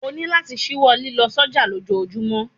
O ní láti ṣíwọ́ lílọ sọ́jà lójojúmọ́!